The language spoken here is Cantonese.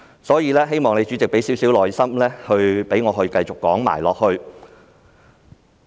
所以，我希望主席耐心一些，讓我繼續說下去。